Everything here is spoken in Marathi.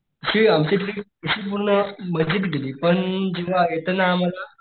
तशी आमची ट्रिप अशी पूर्ण मजेत गेली पण जेव्हा येताना आम्हाला,